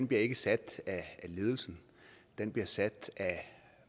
bliver ikke sat af ledelsen den bliver sat af